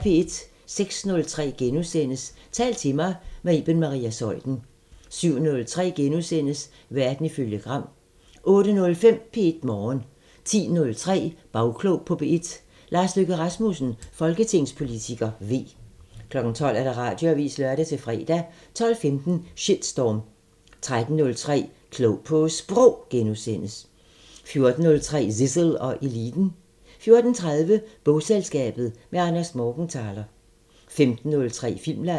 06:03: Tal til mig – med Iben Maria Zeuthen * 07:03: Verden ifølge Gram * 08:05: P1 Morgen 10:03: Bagklog på P1: Lars Løkke Rasmussen, folketingspolitiker (V) 12:00: Radioavisen (lør-fre) 12:15: Shitstorm 13:03: Klog på Sprog * 14:03: Zissel og Eliten 14:30: Bogselskabet – med Anders Morgenthaler 15:03: Filmland